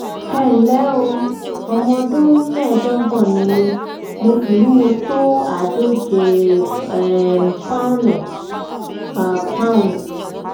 ẹ ǹlẹ́ o ọmọ ọdún mẹ́ẹ̀ẹ́dógún ni mí mo sì wúwo tó àádóje um pọ́nùn per um pounds